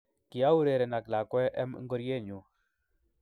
kiaureren ak lakwee em ngoriee nyu